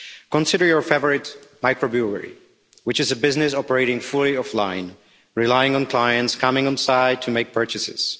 Consider your favourite microbrewery, which is a business operating fully offline, relying on clients coming inside to make purchases.